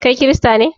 Kai kirista ne?